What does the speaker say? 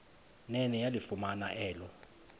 nene yalifumana elo